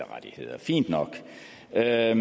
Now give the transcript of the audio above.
rettigheder jeg er